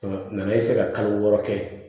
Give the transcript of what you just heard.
nana kalo wɔɔrɔ kɛ